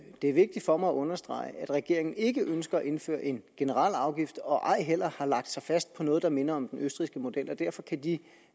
er vigtigt for mig at understrege at regeringen ikke ønsker at indføre en generel afgift og ej heller har lagt sig fast på noget der minder om den østrigske model og derfor kan de